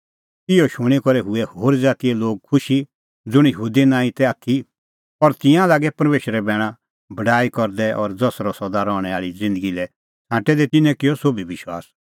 इहअ शूणीं करै हुऐ होरी ज़ातीए लोग खुशी ज़ुंण यहूदी नांईं तै आथी और तिंयां लागै परमेशरे बैणे बड़ाई करदै और ज़ेतरै सदा रहणैं आल़ी ज़िन्दगी लै छ़ांटै तै तिन्नैं किअ सोभी विश्वास